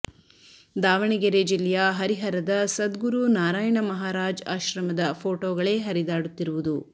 ದಾವಣಗೆರೆ ಜಿಲ್ಲೆಯ ಹರಿಹರದ ಸದ್ಗುರು ನಾರಾಯಣ ಮಹಾರಾಜ್ ಆಶ್ರಮದ ಪೋಟೋಗಳೇ ಹರಿದಾಡುತ್ತಿರುವುದು